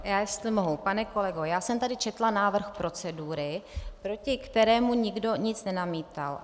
Já jestli mohu, pane kolego, já jsem tady četla návrh procedury, proti kterému nikdo nic nenamítal.